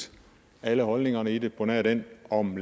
set alle holdningerne i det på nær den om